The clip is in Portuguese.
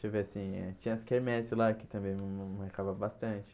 Deixa eu ver assim eh Tinha as quermeses lá, que também me arrecava bastante.